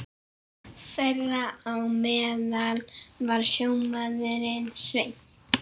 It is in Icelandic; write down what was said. Þeirra á meðal var sjómaðurinn Sveinn.